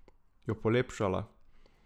Jo polepšala.